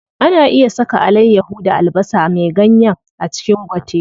Ana iya saka alayyaho da albasa me ganyen a cikin gwate.